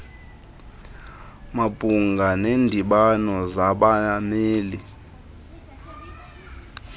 mabhunga neendibano zabameli